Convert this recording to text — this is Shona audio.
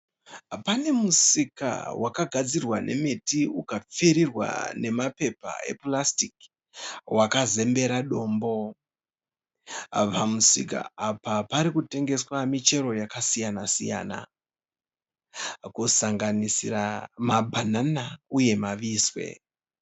Pane musika wakagadzirwa nemiti ukapfirirwa nemapepa epurasitiki wakazembera dombo. Pamusika apa pari kutengeswa michero yakasiyana siyana kusanganisira mabanana uye mavise.